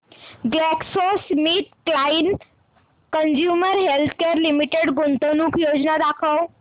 GlaxoSmithKline consumer healthcare limited गुंतवणूक योजना दाखव